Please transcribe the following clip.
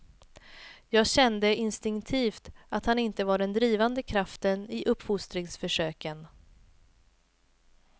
Jag kände instinktivt att han inte var den drivande kraften i uppfostringsförsöken.